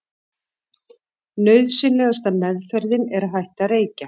nauðsynlegasta „meðferðin“ er að hætta að reykja